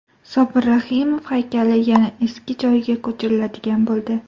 Sobir Rahimov haykali yana eski joyiga ko‘chiriladigan bo‘ldi.